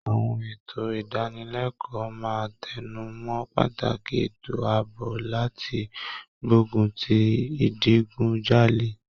Àwọn ètò ìdánilẹ́kọ̀ọ́ máa tẹnu mọ́ pàtàkì ètò àbọ̀ láti gbógun ti ìdigunjalè.